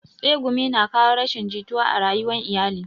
Tsegumi na kawo rashin jituwa a rayuwan iyali